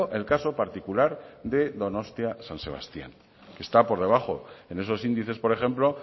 el caso particular de donostia san sebastián que está por debajo en esos índices por ejemplo